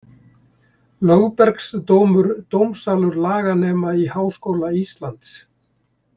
Lögbergsdómur, dómsalur laganema í Háskóla Íslands.